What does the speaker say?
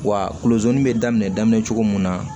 Wa kolonsonin bɛ daminɛ cogo mun na